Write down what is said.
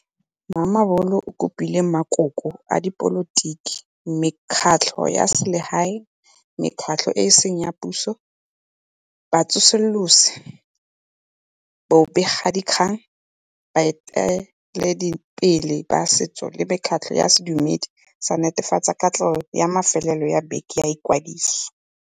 Mamabolo o kopile makoko a dipolotiki, mekgatlho ya selegae, mekgatlho e e seng ya puso, batsosolosi, bobegadikgang, baeteledipele ba setso le mekgatlho ya sedumedi go netefatsa katlego ya mafelo a beke a ikwadiso.